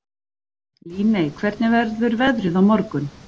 Líney, hvernig verður veðrið á morgun?